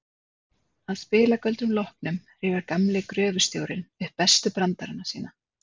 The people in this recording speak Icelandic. Að spilagöldrunum loknum rifjar gamli gröfustjórinn upp bestu brandarana sína.